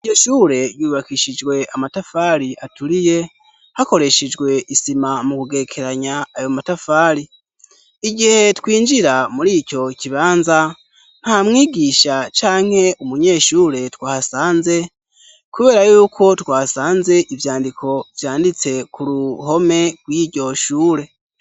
Ivye shure yubakishijwe amatafari aturiye hakoreshejwe isima mu kugekeranya ayo matafari igihe twinjira muri ico kibanza nta mwigisha canke umunyeshure twasanze, kubera yuko twasanze ivyandiko vyanditse ku ruhome wiryoshure.